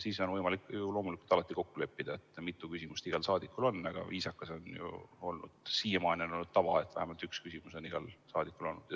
Siis on võimalik ju loomulikult alati kokku leppida, mitu küsimust igal saadikul on, aga viisakas on ja vähemalt siiamaani on olnud tava, et igaühel on vähemalt üks küsimus.